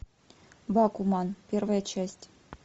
бакуман первая часть